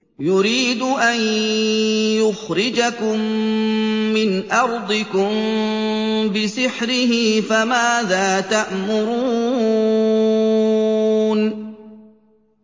يُرِيدُ أَن يُخْرِجَكُم مِّنْ أَرْضِكُم بِسِحْرِهِ فَمَاذَا تَأْمُرُونَ